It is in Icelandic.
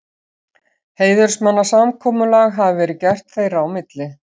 Heiðursmannasamkomulag hafi verið gert þeirra á milli.